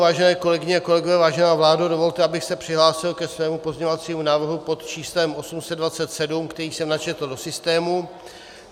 Vážené kolegyně a kolegové, vážená vládo, dovolte, abych se přihlásil ke svému pozměňovacímu návrhu pod číslem 827, který jsem načetl do systému.